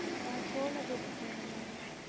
கோலம் BOOK வேணும்